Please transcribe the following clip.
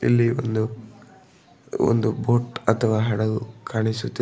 ಇಲ್ಲಿ ಒಂದು ಒಂದು ಬೋಟ್ ಅಥವಾ ಹಡಗು ಕಾಣಿಸುತ್ತಿ--